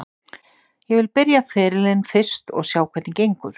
Ég vil byrja ferilinn fyrst og sjá hvernig gengur.